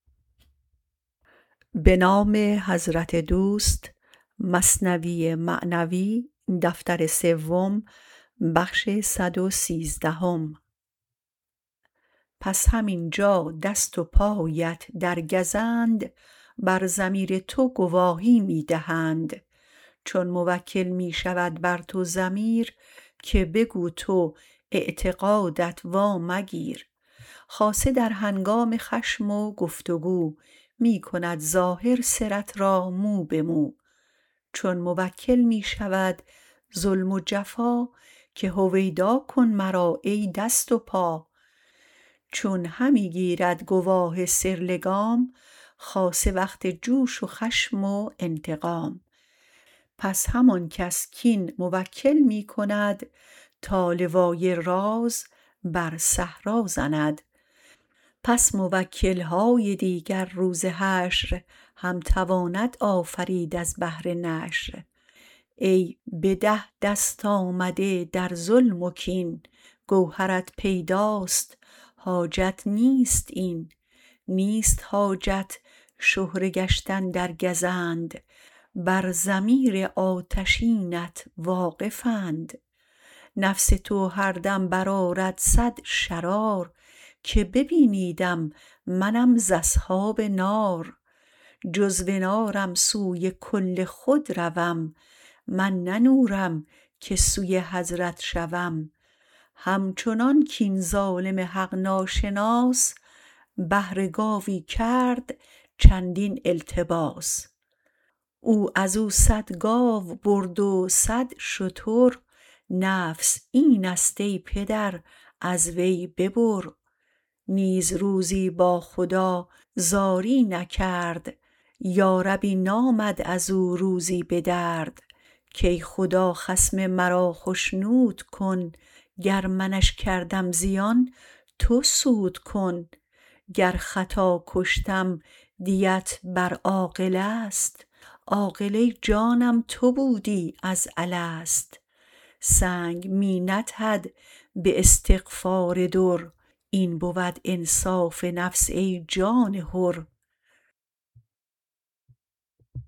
پس همینجا دست و پایت در گزند بر ضمیر تو گواهی می دهند چون موکل می شود بر تو ضمیر که بگو تو اعتقادت وا مگیر خاصه در هنگام خشم و گفت و گو می کند ظاهر سرت را مو به مو چون موکل می شود ظلم و جفا که هویدا کن مرا ای دست و پا چون همی گیرد گواه سر لگام خاصه وقت جوش و خشم و انتقام پس همان کس کین موکل می کند تا لوای راز بر صحرا زند پس موکل های دیگر روز حشر هم تواند آفرید از بهر نشر ای به ده دست آمده در ظلم و کین گوهرت پیداست حاجت نیست این نیست حاجت شهره گشتن در گزند بر ضمیر آتشینت واقف اند نفس تو هر دم بر آرد صد شرار که ببینیدم منم ز اصحاب نار جزو نارم سوی کل خود روم من نه نورم که سوی حضرت شوم همچنان کین ظالم حق ناشناس بهر گاوی کرد چندین التباس او ازو صد گاو برد و صد شتر نفس اینست ای پدر از وی ببر نیز روزی با خدا زاری نکرد یاربی نامد ازو روزی به درد کای خدا خصم مرا خشنود کن گر منش کردم زیان تو سود کن گر خطا کشتم دیت بر عاقله ست عاقله جانم تو بودی از الست سنگ می ندهد به استعفار در این بود انصاف نفس ای جان حر